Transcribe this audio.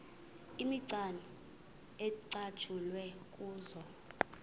imicwana ecatshulwe kuzo